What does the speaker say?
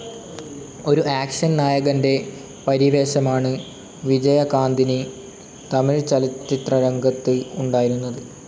ഒരു ആക്ഷൻ നായകൻ്റെ പരിവേഷമാണ് വിജയകാന്തിന് തമിഴ് ചലച്ചിത്രരംഗത്ത് ഉണ്ടായിരുന്നത്.